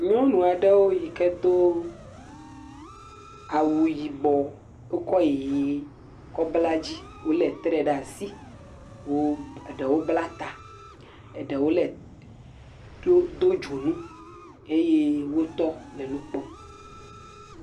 Nyɔnu aɖewo yi ke do awu yibɔ wokɔ ʋi kɔ bla dzi wolé tre ɖe asi eɖewo bla ta, eɖewo le do dzonu eye wotɔ le nu kpɔm.